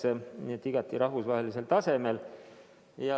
Nii et uuringud peavad olema igati rahvusvahelisel tasemel.